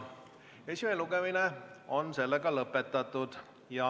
Esimene lugemine on lõppenud.